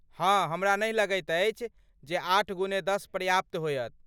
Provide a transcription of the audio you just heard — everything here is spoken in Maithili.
हाँ, हमरा नहि लगैत अछि जे आठ गुने दश पर्याप्त होयत।